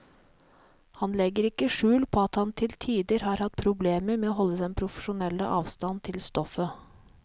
Han legger ikke skjul på at han til tider har hatt problemer med å holde den profesjonelle avstand til stoffet.